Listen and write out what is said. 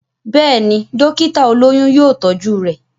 Béèni, dókítà olóyún yóò tọ́jú rẹ̀.